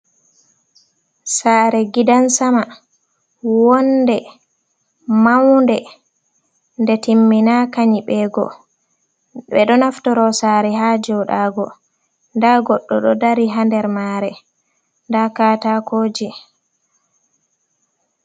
Sare gidan sama, woonde maunde nde timmina ka nyibego, ɓeɗo naftoro sare ha joɗago, nda goɗɗo do dari ha der mare nda katakoji.